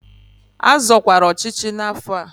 A zọkwara ọchịchị n'afọ a!